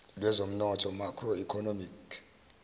lwezomnotho macro economic